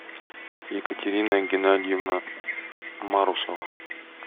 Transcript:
екатерина геннадьевна марусова